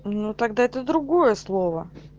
ну тогда это другое слово